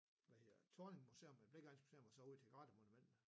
Hvad hedder Thorning museum Blicheregnens museum og så ud til Grathe monumentet